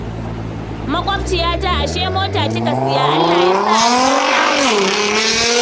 Maƙwabciyata, ashe mota kika saya. Allah ya sa albarka, Halima